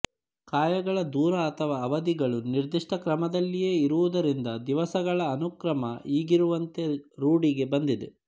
ಕಾಯಗಳ ದೂರ ಅಥವಾ ಅವಧಿಗಳು ನಿರ್ದಿಷ್ಟಕ್ರಮದಲ್ಲಿಯೇ ಇರುವುದರಿಂದ ದಿವಸಗಳ ಅನುಕ್ರಮ ಈಗಿರುವಂತೆ ರೂಢಿಗೆ ಬಂದಿದೆ